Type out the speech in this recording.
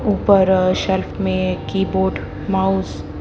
ऊपर शेल्फ में keyboard mouse --